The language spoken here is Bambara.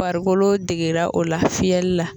Farikolo degera o la fiyɛli la